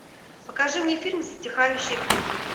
покажи мне фильм затихающие крики